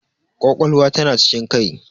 Ƙwaƙwalwa ta na cikin kai.